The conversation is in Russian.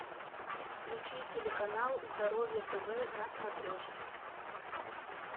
включи телеканал здоровье тв на смотрешке